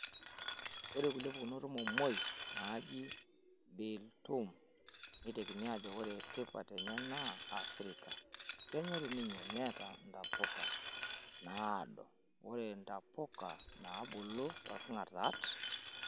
Ore kulie pukunot ormomoi naiji bil-tum, neitekini ajo ore tipat enye naa Africa. Kenyori ninye neeta ntapuka naado ore ntapuka naabulu toorkingartat.